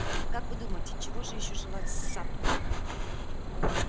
и как вы думаете чего же ещё желать сатту